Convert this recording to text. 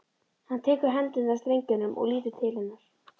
Hann tekur hendurnar af strengjunum og lítur til hennar.